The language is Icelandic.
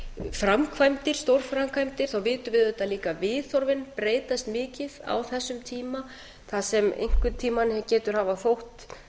framkvæmdir stórframkvæmdir þá vitum við auðvitað líka að viðhorfin breytast mikið á þessum tíma það sem einhvern tíma getur hafa þótt